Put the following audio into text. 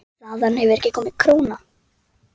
Loks sagði hún: